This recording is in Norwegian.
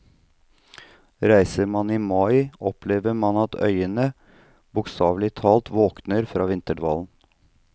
Reiser man i mai opplever man at øyene bokstavlig talt våkner fra vinterdvalen.